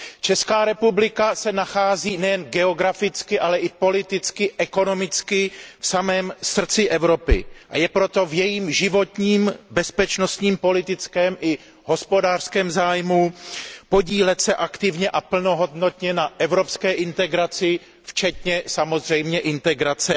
Česká republika se nachází nejen geograficky, ale i politicky, ekonomicky v samém srdci Evropy, a je proto v jejím životním, bezpečnostním, politickém i hospodářském zájmu podílet se aktivně a plnohodnotně na evropské integraci včetně samozřejmě integrace